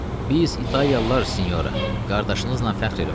Biz italyalılar sinyora, qardaşınızla fəxr eləməliyik.